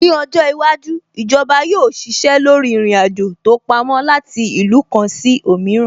Ní ọjọ́ iwájú, Ìjọba yóò ṣiṣẹ́ lórí ìrìn-àjò tó pamó láti ìlú kan sí òmíràn